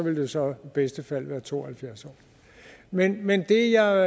jo så i bedste fald ville være to og halvfjerds år men men det jeg